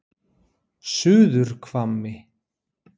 Suðurhvammi